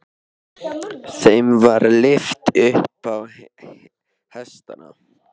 Þeim var lyft upp á hestana.